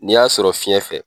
N'i y'a sɔrɔ fiɲɛ fɛ.